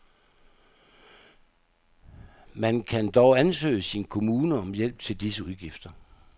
Man kan dog ansøge sin kommune om hjælp til disse udgifter.